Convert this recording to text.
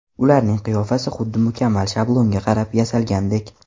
Ularning qiyofasi xuddi mukammal shablonga qarab yasalgandek.